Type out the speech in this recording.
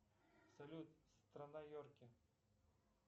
салют страна йорки